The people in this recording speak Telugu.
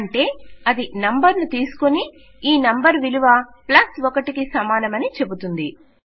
అంటే అది నంబర్ ను తీసుకుని ఇది నంబర్ విలువ ప్లస్ 1 కి సమానమని చెపుతుంది